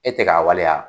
E tɛ k'a waleya